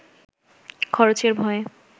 খরচের ভয়